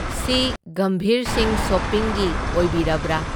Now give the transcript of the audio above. ꯁꯤ ꯒꯝꯚꯤꯔꯁꯤꯡ ꯁꯣꯄꯤꯡꯒꯤ ꯑꯣꯏꯕꯤꯔꯕ꯭ꯔꯥ?